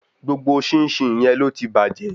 Gbogbo síńsiǹ yẹn ló tí bàjẹ́.